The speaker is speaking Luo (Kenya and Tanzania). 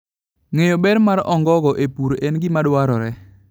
Ng'eyo ber ma ongogo e pur en gima dwarore.